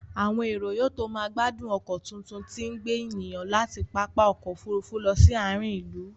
Àwọn èrò yóò tó máa gbádùn ọkọ tuntun tí ń gbé ènìyàn láti pápá ọkọ̀ Òfurufú lọ sí àárín ìlú